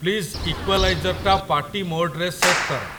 please ଇକ୍ୱାଲାଇଜର୍‌ଟା party ମୋଡ୍‌ରେ set କର